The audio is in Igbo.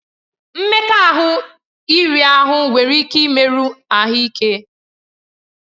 Mmekọahụ iri ahụ nwere ike imerụ ahụ ike.